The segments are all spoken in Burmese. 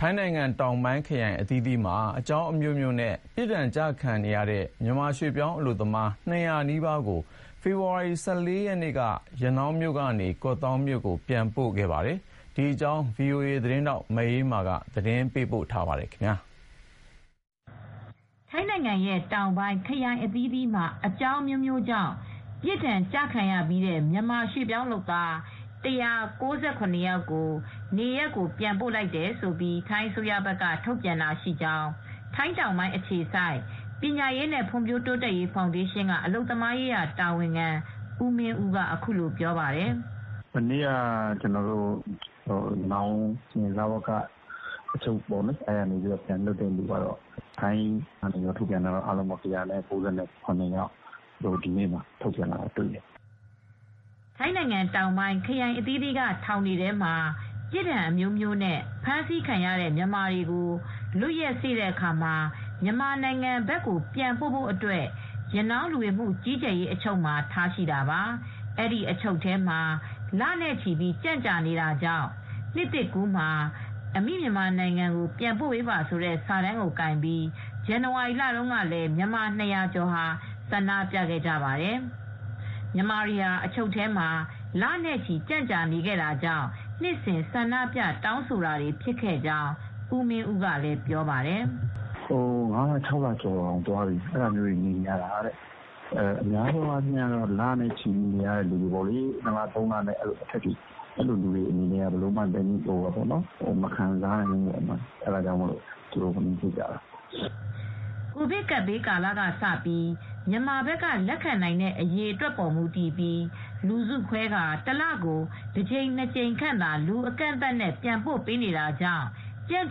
ထိုင်းနိုင်ငံတောင်ပိုင်းခရိုင်အသီးသီးမှာ အကြောင်းအမျိုးမျိုးနဲ့ ပြစ်ဒဏ်ကျခံပြီးတဲ့ မြန်မာရွှေ့ပြောင်းလုပ်သား ၂၀၀ နီးပါးကို ဖေဖေါ်ဝါရီလ ၁၄ ရက်နေ့က ရနောင်းမြို့ကနေ ကော့သောင်းမြို့ကို ပြန်ပို့ခဲ့ပါတယ်။ ဒီသတင်းကို ဗွီအိုအေသတင်းထောက် မအေးအေးမာကသတင်းပေးပို့ထားပါတယ်။ ထိုင်းနိုင်ငံတောင်ပိုင်းခရိုင်အသီးသီးက အကျဥ်းထောင်တွေကနေ ပြစ်ဒဏ်ကျခံပြီးတဲ့ မြန်မာရွှေ့ပြောင်းလုပ်သား ၁၉၇ ယောက်ကိုနေရပ်ကိုပြန်ပို့လိုက်တယ်လို့ ထိုင်းအစိုးရဘက်ကထုတ်ပြန်ကြောင်း ထိုင်းတောင်ပိုင်းအခြေစိုက် ပညာရေးနဲ့ဖွံ့ဖြိုးတိုးတက်ရေးဖောင်ဒေးရှင်း အလုပ်သမားရေးရာတာဝန်ခံဦးမင်းဦးက အခုလိုပြောပါတယ်။ "မနေ့ကတော့ ရနောင်း လဝက အချုပ်ခန်းကနေ ပြန်လွတ်တဲ့သူ ထိုင်းကထုတ်ပြန်တဲ့စာရင်းအရတော့ ၁၉၇ ယောက်ကို ထုတ်ပြန်ထားတာဖြစ်ပါတယ်။" ထိုင်းနိုင်ငံမှာ ပြစ်ဒဏ်အမျိုးမျိုးနဲ့အဖမ်းအဆီးခံရတဲ့မြန်မာတွေ လွတ်ရက်စေ့တဲ့အခါ မြန်မာနိုင်ငံဘက်ကို ပြန်ပို့ဖို့ ရနောင်းလူဝင်မှုကြီးကြပ်ရေးအချုပ်မှာ ဆက်ပြီး ထိန်းသိမ်းထားလေ့ ရှိပါတယ်။ အဲဒီလို လနဲ့ချီပြီး အချုပ်ထဲမှာ ကြန့်ကြာနေတာကြောင့် ပြီးခဲ့တဲ့ ဇန်နဝါရီလတုန်းကပဲ 'နှစ်သစ်ကူးမှာအမိမြန်မာနိုင်ငံကိုပြန်ပို့ပေးပါ' ဆိုတဲ့စာတမ်းကို ကိုင်ပြီး မြန်မာ၂၀၀ ကျော်က ဆန္ဒပြခဲ့ပါတယ်။ အဲဒီလို ဆန္ဒပြမှုမျိုးကလည်း နှစ်စဥ် ရှိတတ်ကြောင်း ဦးမင်းဦးကလည်းပြောပါတယ်။ "တချို့ကတော့ ငါးလ ခြောက်လလောက်နေရတယ်။ များသေားအားဖြင့်တော့ နှစ်လ သုံးလနေရတဲ့သူတွေကတော့ ဘယ်လိုမှ သည်းညည်းမခံနိုင်ကြတော့ ဆန္ဒပြဖြစ်ကြတာပဲ။" ကိုဗစ်ကပ်ဘေးကာလကစပြီး မြန်မာဘက်က လက်ခံနိုင်တဲ့အရေအတွက်ပေါ်မူတည်ပြီး လူစုခွဲပြီး တလကို တကြိမ် ၂ ကြိမ်ခန့်သာ လူအကန့်အသတ်နဲ့ ပြန်ပို့ပေးနေတာကြောင့် ကြန့်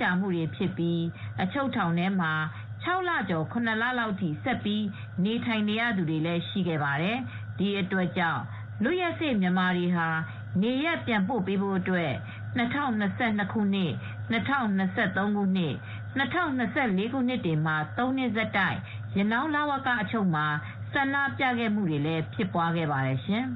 ကြာနေရပြီး အချုပ်ထောင်ထဲမှာ ၆ လကျော် ၇ လလောက်အထိ ဆက်ပြီး နေထိုင်နေရသူတွေလည်းရှိခဲ့ပါတယ်။ ဒီအတွက်ကြောင့် လွတ်ရက်စေ့မြန်မာတွေဟာ နေရပ်ပြန်ပို့ပေးဖို့အတွက် ၂၀၂၂ ၊ ၂၀၂၃ နဲ့ ၂၀၂၄ ခုနှစ်တွေမှာ ၃ နှစ်ဆက်တိုက် ရနောင်း လဝက အချုပ်မှာ ဆန္ဒပြတာတွေလည်း ရှိခဲ့ပါတယ်ရှင်။